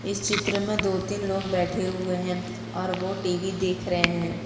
इस चित्र में दो तीन लोग बैठे हुए हैं और वो टी_वी देख रहे हैं।